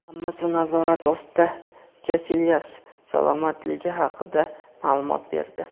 "Hammasi nazorat ostida" – Kasilyas salomatligi haqida maʼlumot berdi.